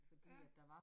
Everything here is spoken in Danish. Ja